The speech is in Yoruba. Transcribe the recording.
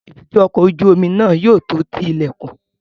Èbúté ọkọ̀ ojú omi náà yóò tó ti ilẹ̀kùn